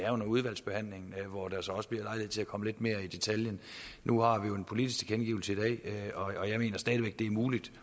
under udvalgsbehandlingen hvor der så også bliver lejlighed til at komme lidt mere i detaljen nu har vi jo en politisk tilkendegivelse i dag og jeg mener stadig væk det er muligt